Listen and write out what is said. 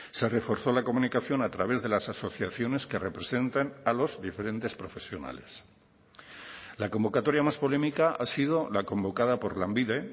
se reforzó la comunicación a través de las asociaciones que representan a los diferentes profesionales la convocatoria más polémica ha sido la convocada por lanbide